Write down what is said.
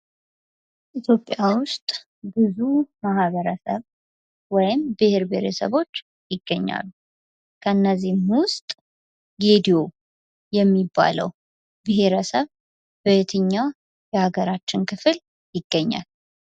ኢትዮጵያ ውስጥ ብዙ ማህበረሰብ ወይም ብሔር ብሔረሰቦች ይገኛሉ። ከነዚህም ውስጥ ጌዲዮ የሚባለው ብሔረሰብ በየትኛው የሀገራችን ክፍል ይገኛል?